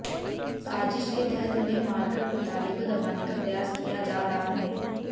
साजिश के तहत उन्हें मारकर घोटाले को दबाने का प्रयास किया जा रहा है